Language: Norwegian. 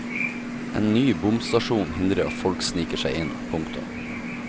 En ny bomstasjon hindrer at folk sniker seg inn. punktum